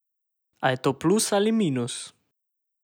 A je to plus ali minus?